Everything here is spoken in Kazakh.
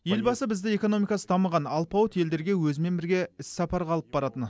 елбасы бізді экономикасы дамыған алпауыт елдерге өзімен бірге іссапарға алып баратын